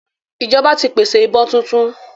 Ìjọba ti pèsè ìbọn tuntun